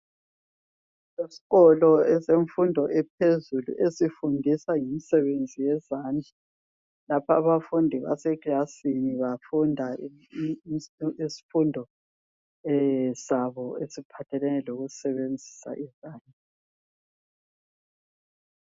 Isikolo esemfundo ephezulu esifundisa ngemisebenzi yezandla. Lapha abafundi basekilasini bafunda isifundo sabo esiphathelane lokusebenzisa izandla.